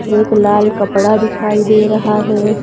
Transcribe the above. एक लाल कपड़ा दिखाई दे रहा है।